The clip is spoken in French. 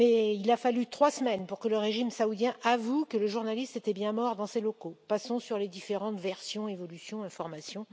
Il a fallu trois semaines pour que le régime saoudien avoue que le journaliste était bien mort dans les locaux de son ambassade passons sur les différentes versions, évolutions et informations.